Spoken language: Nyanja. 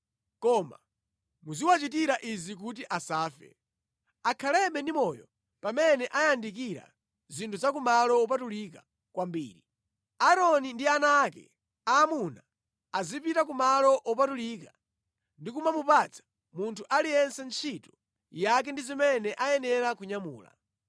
Koma muziwachitira izi kuti asafe, akhalebe ndi moyo pamene ayandikira zinthu za ku malo wopatulika kwambiri: Aaroni ndi ana ake aamuna azipita ku malo wopatulika ndi kumamupatsa munthu aliyense ntchito yake ndi zimene ayenera kunyamula.